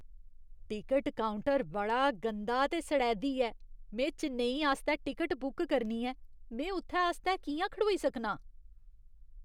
Ticket counter बड़ा गंदा ते सढ़ैदी ऐ। में चेन्नई आस्तै टिकट बुक करनी ऐ, में उत्थै आस्तै कि'यां खड़ोई सकनां?